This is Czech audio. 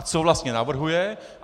A co vlastně navrhuje?